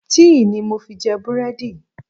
Tíì ni mo fi jẹ búrẹ́dì mi.